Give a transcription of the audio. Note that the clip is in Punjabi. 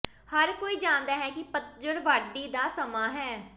ਹਰ ਕੋਈ ਜਾਣਦਾ ਹੈ ਕਿ ਪਤਝੜ ਵਾਢੀ ਦਾ ਸਮਾਂ ਹੈ